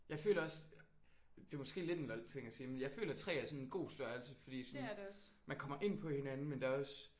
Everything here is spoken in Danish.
Jeg føler også det er måske lidt en lol ting at sige men jeg føler 3 er sådan en god størrelse fordi sådan man kommer ind på hinanden men der er også